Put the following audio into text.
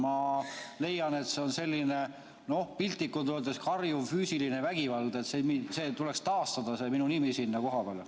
Ma leian, et see on selline, piltlikult öeldes, karjuv füüsiline vägivald, tuleks taastada minu nimi sinna koha peale.